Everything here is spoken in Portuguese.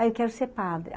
Ai, quero ser padre.